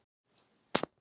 Ásdís Jónsdóttir.